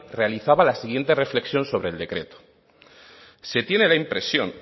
realizaba la siguiente reflexión sobre el decreto se tiene la impresión